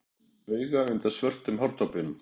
Mamma gjóaði til mín auga undan svörtum hártoppnum.